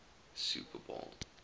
super bowl